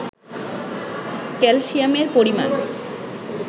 ক্যালসিয়ামের পরিমাণ